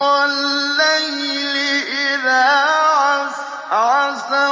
وَاللَّيْلِ إِذَا عَسْعَسَ